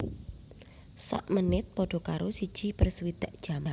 Sak menit padha karo siji per swidak jam